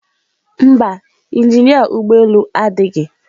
Mba, injinia ụgbọ elu adịghị.